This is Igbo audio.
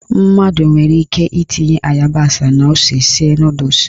Mmadụ nwere ike itinye ịyabasị na ose sie nọdụs.